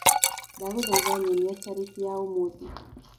ndagũthaĩtha nyonĩa tarĩkĩ yaũmũthĩ